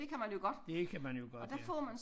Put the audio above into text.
Det kan man jo godt ja